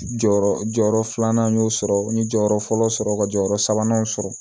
Jɔyɔrɔ jɔyɔrɔ filanan n y'o sɔrɔ n ye jɔyɔrɔ fɔlɔ sɔrɔ ka jɔyɔrɔ sabanan sɔrɔ